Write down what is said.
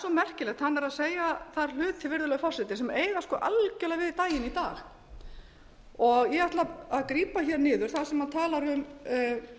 merkilegt hann var að segja þar hluti virðulegi forseti sem eiga algerlega við daginn í dag og ég ætla að grípa niður þar sem hann talar